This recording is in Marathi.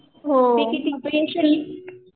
फी किती आहे